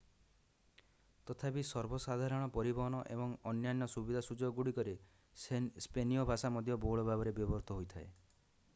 ତଥାପି ସର୍ବସାଧାରଣ ପରିବହନ ଏବଂ ଅନ୍ୟାନ୍ୟ ସୁବିଧାସୁଯୋଗଗୁଡ଼ିକରେ ସ୍ପେନୀୟ ଭାଷା ମଧ୍ୟ ବହୁଳ ଭାବରେ ବ୍ୟବହୃତ ହୋଇଥାଏ